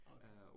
Okay